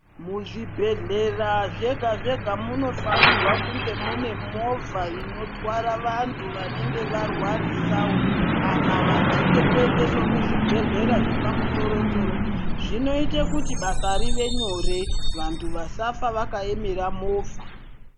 Muzvibhedhlera zvega zvega munofanirwa kunge mune movha inotwara vantu vanenge varwarisawo kana vachide kuendeswe kuzvibhedhlera zvepamusoro soro zvinoite kuti basa rive nyore vantu vasafa vakaemera movha.